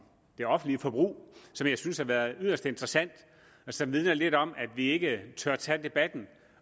det offentlige forbrug som jeg synes har været yderst interessant og som vidner lidt om at vi ikke tør tage debatten